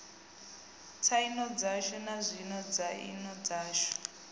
tsaino dzashu nazwino tsaino dzashu